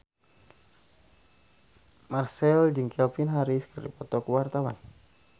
Marchell jeung Calvin Harris keur dipoto ku wartawan